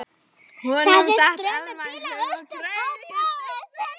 Honum datt Elma í hug og gretti sig.